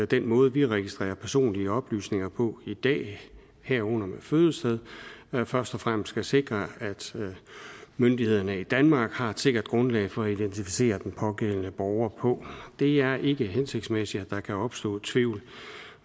den måde vi registrerer personlige oplysninger på i dag herunder med fødested først og fremmest skal sikre at myndighederne i danmark har et sikkert grundlag for at identificere den pågældende borger på det er ikke hensigtsmæssigt at der kan opstå tvivl